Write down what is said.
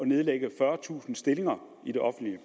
nedlægges fyrretusind stillinger i den offentlige